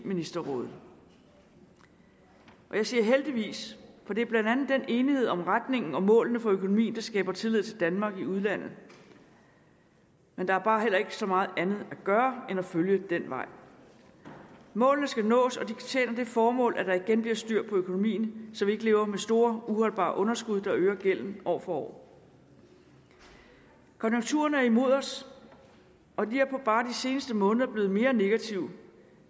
ministerråd jeg siger heldigvis for det er blandt andet den enighed om retningen og målene for økonomien der skaber tillid til danmark i udlandet men der er bare heller ikke så meget andet at gøre end at følge den vej målene skal nås og de tjener det formål at der igen bliver styr på økonomien så vi ikke lever med store uholdbare underskud der øger gælden år for år konjunkturerne er imod os og de er bare de seneste måneder blevet mere negative